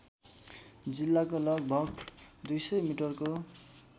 जिल्लाको लगभग २००मिटरको